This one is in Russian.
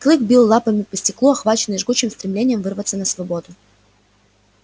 клык бил лапами по стеклу охваченный жгучим стремлением вырваться на свободу